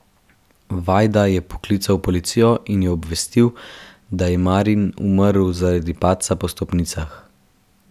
Vajda je poklical policijo in jo obvestil, da je Marin umrl zaradi padca po stopnicah.